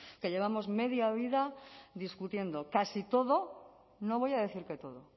que llevamos media vida discutiendo casi todo no voy a decir que todo